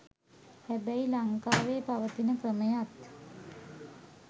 හැබැයි ලංකාවේ පවතින ක්‍රමයත්